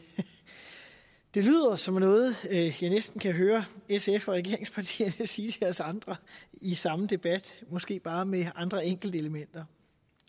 det lyder som noget jeg næsten kan høre sf og regeringspartierne sige til os andre i samme debat måske bare med andre enkeltelementer